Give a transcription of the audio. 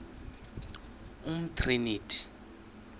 umtriniti